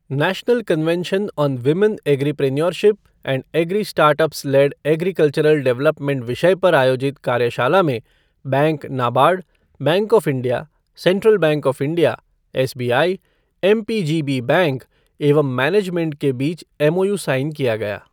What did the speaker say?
National convention on women agripreneurship and agri startups led agricultural development विषय पर आयोजित कार्यषाला में bank NABARD, bank of India, central bank of India, SBI, MPGB bank एवं management के बीच एमओयू साइन किया गया।